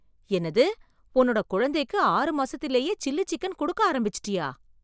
என்னது உன்னோட குழந்தைக்கு ஆறு மாசத்திலேயே சில்லி சிக்கன் கொடுக்க ஆரம்பிச்சுட்டியா?